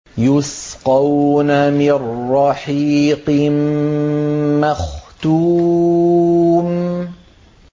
يُسْقَوْنَ مِن رَّحِيقٍ مَّخْتُومٍ